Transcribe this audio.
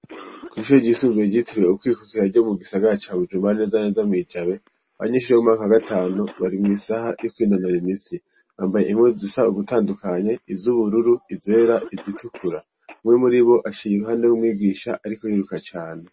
Kw'ishuri ryisumbuye ryitiriwe Ukwikukira ryo mu gisagara ca Bujumbura, neza na neza mwi Jabe, abanyeshure bo mu mwaka wa gatanu bari mw'isaha yo kwinonora imitsi. Amabuye impuzu siza ugutandukanye, iz'ubururu, izera, izitukura. Umwe muribo aciye impande y'umwigisha ariko ariruka cane.